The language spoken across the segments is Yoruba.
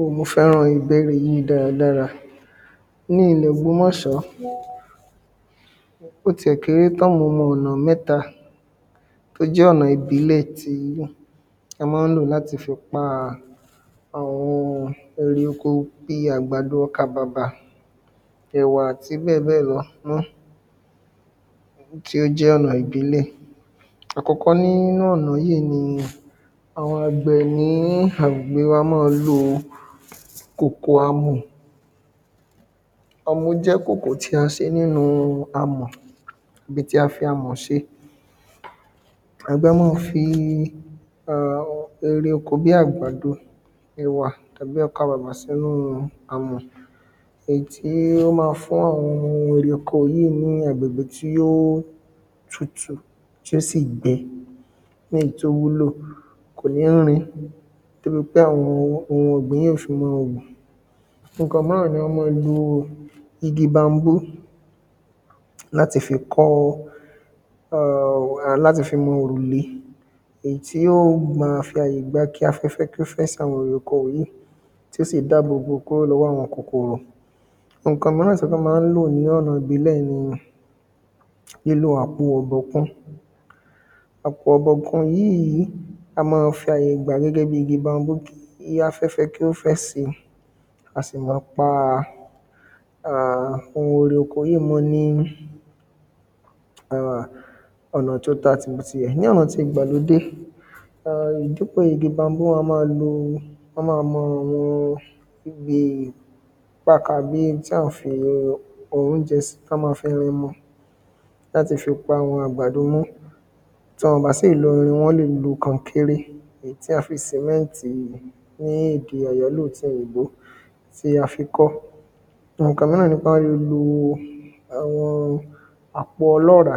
O mo fẹ́ràn egbérìn yìí dáradára. Ní ilẹ̀ ògbómóṣọ̀ bó ti ẹ̀ kéré tán mo mọ ọ̀nà mẹ́ta ó jẹ́ ọ̀nà ìbílẹ̀ tí wọ́n má ń lò láti fi pa àwọn ohun erè oko bí ọkà bàbà ẹ̀wà àti bẹ́ẹ̀ bẹ́ẹ̀ lọ náà tí ó jẹ́ ẹ̀wà ìbílẹ̀. Àkọ́kọ́ nínú ọ̀nà yìí ni àwọn àgbẹ̀ ní agbègbè wa má ń lo ìkòkò amọ̀ ọmú jẹ́ ìkòkò tí a ṣe nínú amọ̀ ibi tí a fi amọ̀ ṣe àgbẹ̀ a má fi erè oko bí àgbàdo ẹ̀wà tàbí ọkà bàbà sí inú amọ̀ èyí tí ó má fún àwọn erè oko yìí ní agbègbè tí ó tutù tí ó sì gbẹ ní èyí tí ó wúlò kò ní rin torípé àwọn ohun ọ̀gbìn yìí yó fi mọ́ hù Nǹkan míràn ni wọ́n má ń lo igi bambó láti fi kọ́ um láti fi lo òrùlé èyí tí yó ma fi àyè gba kí afẹ́fẹ́ fẹ́ sí àwọn erè oko yìí tó sì dábò bò lọ́wọ́ àwọn kòkòrò. Nǹkan míràn tí wọ́n tún má ń lò ní ọ̀nà ìbílẹ̀ ni lílo àpò ọ̀bọ̀kun. Àpò ọ̀bọ̀kun yìí á má fi àyè gbà gẹ́gẹ́ bí igi bambó kí afẹ́fẹ́ kí ó fẹ́ sí a sì mọ́ pa um ohùn ere oko yìí mọ́ ní um ọ̀nà tí ó bá ti ti ẹ̀ ní ọ̀nà ti ìgbàlódé um dípò igi bambó wọ́n á má lo àwọn bí pakà bí tí à mọ́ ń fi óúnjẹ sí kí á má fi mú láti fi pa àwọn àgbàdo mọ́ tí wọn bá sì lo irin wọ́n lè lo kankéré èyí tí a fi sìmẹ́ntì ní èdè àyálò ti òyìnbó tí a fi kọ́. Nǹkan míràn ni pé a lè lo àpò ọlọ́ràá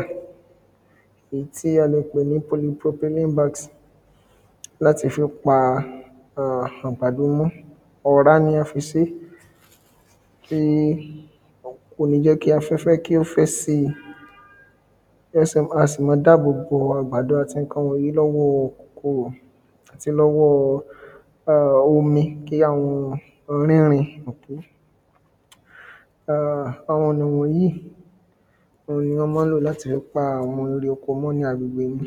èyí tí a lè pè ní pothylene bags láti fi pa àgbàdo mọ́ ọ̀rá ni a fi sé tí kò ní jẹ́ kí afẹ́fẹ́ kí ó fẹ́ sí wọn sì a sì má dáàbò bo àwọn nǹkan wọ̀nyìí lọ́wọ́ kòkòrò lọ́wọ́ omi kí àwọn rínrin um àwọn ọ̀nà wọ̀nyìí ohun ni wọ́n má ń lò láti fi pa erè oko mọ́ ní agbègbè mi.